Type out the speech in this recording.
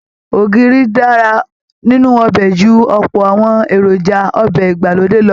Ògìrì dára nínú ọbẹ̀ ju ọ̀pọ̀ àwọn èròjà ọbẹ̀ ìgbàlódé lọ